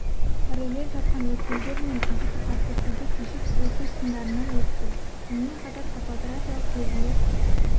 параллель жатқан өткелдер мен ағысы қатты суды кешіп өту сындарынан өтті сонымен қатар топографиялық белгілер